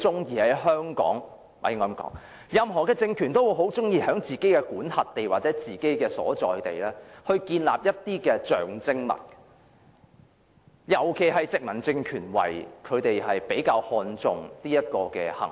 因為任何政權也很喜歡在自己的管轄地或所在地建立象徵物，尤其是殖民政權會比較看重這種行為。